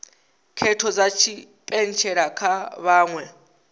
khetho dza tshipentshela kha vhaṅwe